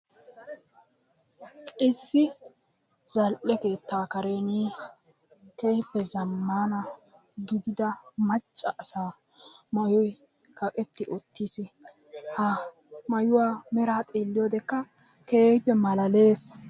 Issi zal''e keetta karen kehippe zamman gidida maccaasa maayoy kaqqeti uttiis, ha maayuwa meraa xeeliyoodekkaa keehippe malalees.